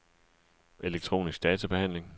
elektronisk databehandling